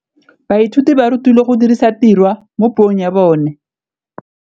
Baithuti ba rutilwe go dirisa tirwa mo puong ya bone.